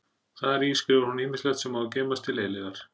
Þar í skrifar hún ýmislegt sem á að geymast til eilífðar.